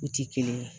U ti kelen ye